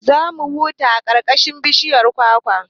Za mu huta a ƙarƙashin inuwar bishiyar kwakwa